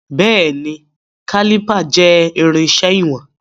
Béèní, Kálìpà jẹ́ irinṣẹ́ ìwọ̀n.